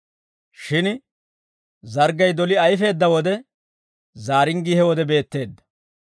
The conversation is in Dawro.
Shin zarggay doli ayfeedda wode, zaaringgii he wode beetteedda.